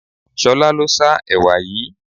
Ṣolá ló sá ẹwà yìí.